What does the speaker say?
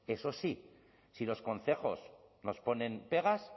eso sí si los concejos nos ponen pegas